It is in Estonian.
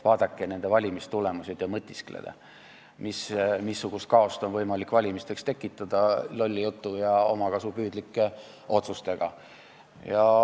Vaadake nende valimistulemusi ja mõtisklege, missugust kaost on võimalik valimisteks tekitada lolli jutu ja omakasupüüdlike otsustega.